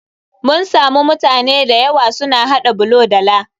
Mun samu mutane da yawa su na haɗa bulo da laa.